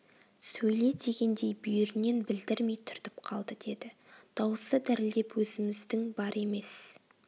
сөйле дегендей бүйірінен білдірмей түртіп қалды деді дауысы дірілдеп өзіміздің бар емес